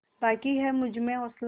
बाक़ी है तुझमें हौसला